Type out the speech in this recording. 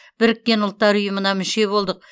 біріккен ұлттар ұйымына мүше болдық